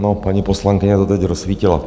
No, paní poslankyně to teď rozsvítila.